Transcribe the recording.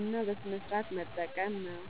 እና በስነሥርዓት መጠቀም ነው።